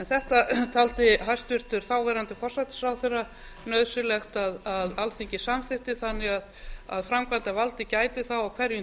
þetta taldi hæstvirtur þáverandi hæstvirtur forsætisráðherra nauðsynlegt að alþingi samþykkti þannig að framkvæmdarvaldið gæti þá á hverjum